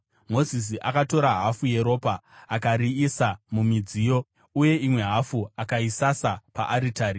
Mozisi akatora hafu yeropa akariisa mumidziyo, uye imwe hafu akaisasa paaritari.